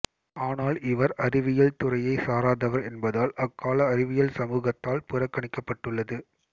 ஆனால் இவர் அறிவியல் துறையைச் சாராதவர் என்பதால் அக்கால அறிவியல் சமூகத்தால் புறக்கணிக்கப்பட்டுள்ளது